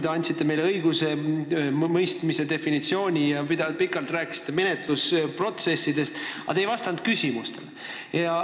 Te andsite meile teada õigusemõistmise definitsiooni ja rääkisite menetlusprotsessist, aga te ei vastanud küsimustele.